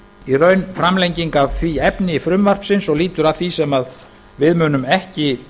í raun framlenging af því efni frumvarpsins og lýtur að því sem við munum ekki